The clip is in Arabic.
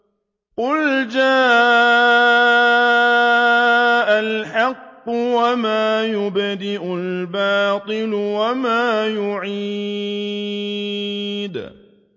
قُلْ جَاءَ الْحَقُّ وَمَا يُبْدِئُ الْبَاطِلُ وَمَا يُعِيدُ